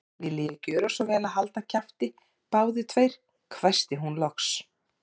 Viljiði gjöra svo vel að halda kjafti, báðir tveir hvæsti hún loks.